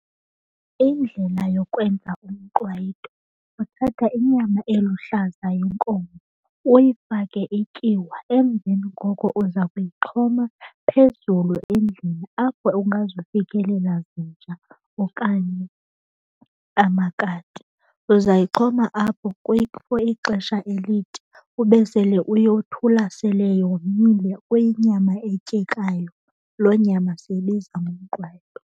Indlela yokwenza umqwayito uthatha inyama eluhlaza yenkomo uyifake ityiwa, emveni koko uza kuyixhoma phezulu endlini apho ungazufikelela zinja okanye amakati. Uzayixhoma apho for ixesha elide ube sele uyothula sele yomile kuyinyama etyekayo. Loo nyama siyibiza ngomqwayito.